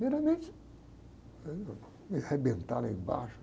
Primeiramente, me arrebentar lá embaixo.